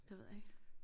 Det ved jeg ikke